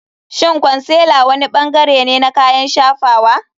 Shin concealer wani bangare ne na kayan shafawa?